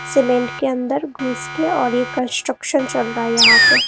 Cement के अंदर घुस के और ये कंस्ट्रक्शन चल रहा है यहां पे।